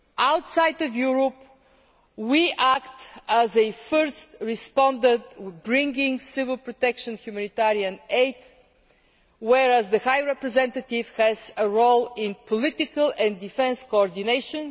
Outside Europe, we act as a first responder bringing civil protection humanitarian aid, whereas the High Representative has a role in political and defence coordination.